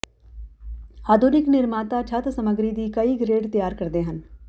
ਆਧੁਨਿਕ ਨਿਰਮਾਤਾ ਛੱਤ ਸਮੱਗਰੀ ਦੀ ਕਈ ਗ੍ਰੇਡ ਤਿਆਰ ਕਰਦੇ ਹਨ